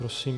Prosím.